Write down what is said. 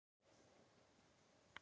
Þetta var gersamlega óskiljanlegt.